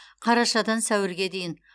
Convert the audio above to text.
қарашадан сәуірге дейін